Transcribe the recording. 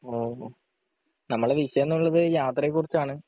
ഓഹോ നമ്മളെ വിഷയം എന്നുള്ളത് യാത്രയെ കുറിച്ചാണ്